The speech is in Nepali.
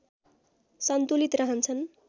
सन्तुलित रहन्छन्